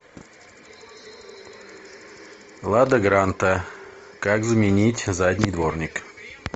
лада гранта как заменить задний дворник